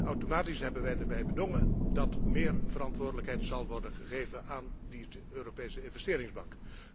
Automatisch hebben wij erbij bedongen dat meer verantwoordelijkheid zal worden gegeven aan die Europese Investeringsbank.